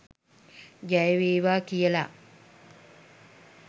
ජය වේවා කියලා.